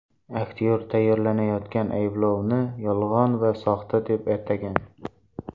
Aktyor tayyorlanayotgan ayblovni yolg‘on va soxta deb atagan.